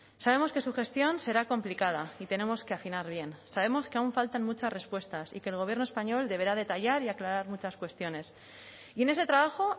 sabemos que su gestión será complicada y tenemos que afinar bien sabemos que aún faltan muchas respuestas y que el gobierno español deberá detallar y aclarar muchas cuestiones y en ese trabajo